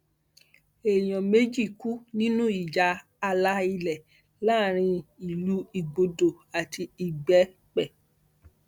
èèyàn méjì kú nínú ìjà ààlà ilẹ láàrin ìlú igbodò àti ìgbẹpẹ